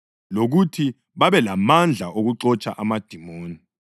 lokuthi babelamandla okuxotsha amadimoni.